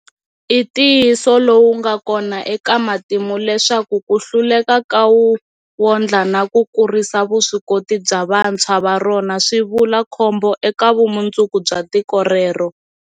I ntiyiso lowu nga kona eka matimu leswaku ku hluleka ka wu wondla na ku kurisa vuswikoti bya vantshwa va rona swi vula khombo eka vumundzuku bya tiko rero.